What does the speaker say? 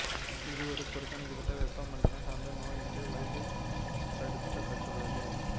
இது ஒரு புறக்கணிக்கபட்ட வெப்பமண்டலம் சார்ந்த நோய் என்று வகைப்படுத்தபட்டுள்ளது